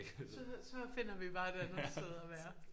Så så finder vi bare et andet sted at være